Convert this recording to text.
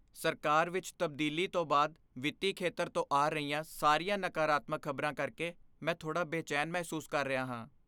ਸਰਕਾਰ ਵਿੱਚ ਤਬਦੀਲੀ ਤੋਂ ਬਾਅਦ ਵਿੱਤੀ ਖੇਤਰ ਤੋਂ ਆ ਰਹੀਆਂ ਸਾਰੀਆਂ ਨਕਾਰਾਤਮਕ ਖ਼ਬਰਾਂ ਕਰਕੇ ਮੈਂ ਥੋੜ੍ਹਾ ਬੇਚੈਨ ਮਹਿਸੂਸ ਕਰ ਰਿਹਾ ਹਾਂ।